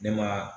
Ne ma